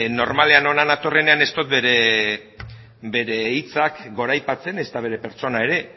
normalean hona natorrenean ez dut bere hitzak goraipatzen ezta bere pertsona ere